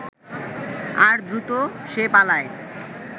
আর দ্রুত সে পালায়